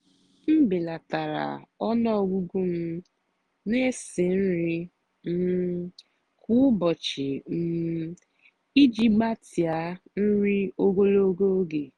m bèlátárá ónú ọ́gụ́gụ́ m nà-èsì nrì um kwá ụ́bọ̀chị́ um ìjì gbàtíá nrì ógològó ógè.